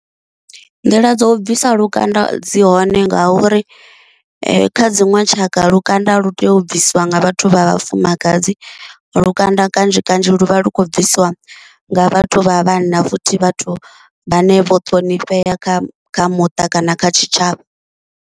Nḓila dzo u bvisa lukanda dzi hone nga uri kha dziṅwe tshaka lukanda lu tea u bvisiwa nga vhathu vha vhafumakadzi, lukanda kanzhi kanzhi lu vha lu khou bvisiwa nga vhathu vha vhanna futhi vhathu vhane vho ṱhonifhea kha kha muṱa kana kha tshitshavha.